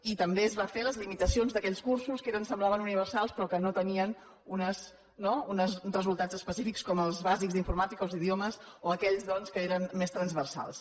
i també es van fer les limitacions d’aquells cursos que semblaven universals però que no tenien no uns resultats específics com els bàsics d’informàtica o els d’idiomes o aquells doncs que eren més transversals